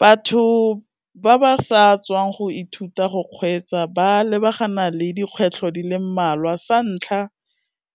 Batho ba ba sa tswang go ithuta go kgweetsa ba lebagana le dikgwetlho di le mmalwa, sa ntlha